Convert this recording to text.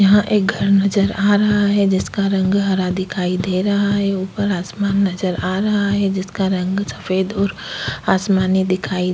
यहाँ एक घर नजर आ रहा है जिसका रंग हरा दिखाई दे रहा है ऊपर आसमान नजर आ रहा है जिसका रंग सफेद और आसमानी दिखाई --